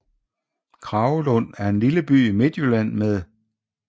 Kragelund er en lille by i Midtjylland med